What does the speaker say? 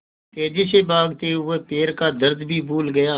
तेज़ी से भागते हुए वह पैर का दर्द भी भूल गया